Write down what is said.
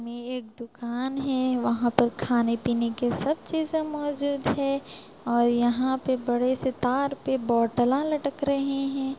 में एक दुकान है वहां पर खाने पीने की सब चीजें मौजूद हैं और यहां पर बड़े से तार पे बोटलां लटक रहे हैं।